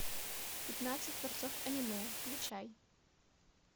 пятнадцать творцов аниме включай